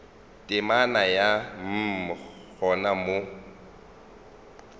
temana ya mm gona mo